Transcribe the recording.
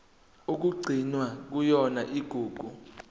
okugcinwe kuyona igugu